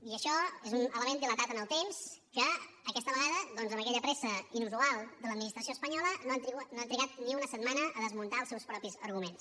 i això és un element dilatat en el temps i aquesta vegada doncs amb aquella pressa inusual de l’administració espanyola no han trigat ni una setmana a desmuntar els seus propis arguments